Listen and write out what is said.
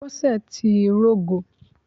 Bọ́sẹ̀ ti rógo